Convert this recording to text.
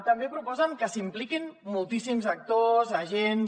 també proposen que s’hi impliquin moltíssims actors agents